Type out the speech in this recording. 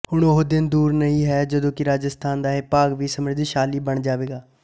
ਹੁਣ ਉਹ ਦਿਨ ਦੂਰ ਨਹੀਂ ਜਦੋਂ ਕਿ ਰਾਜਸਥਾਨ ਦਾ ਇਹ ਭਾਗ ਵੀ ਸਮ੍ਰੱਧਿਸ਼ਾਲੀ ਬੰਨ ਜਾਵੇਗਾ